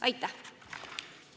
Aitäh!